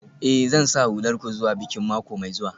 Eh, Zan sa hular ku zuwa bikin mako mai zuwa.